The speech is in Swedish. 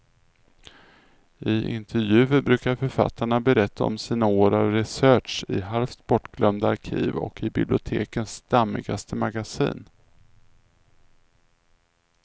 I intervjuer brukar författarna berätta om sina år av research i halvt bortglömda arkiv och i bibliotekens dammigaste magasin.